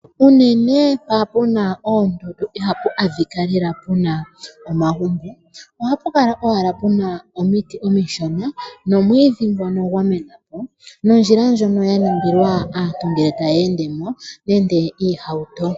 Unene mpa pu na oondundu iha pu adhika lela pu na omagumbo, oha pu kala owala pu na omiti omishona nomwiidhi ngono gwa menapo, nondjila ndjono ya ningilwa aantu ngele taya endemo nenge oohauto.